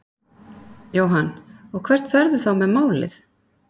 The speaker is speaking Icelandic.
Jóhann: Og hvert ferðu þá með málið?